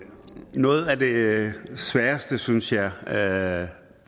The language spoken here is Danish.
noget af det sværeste synes jeg ved at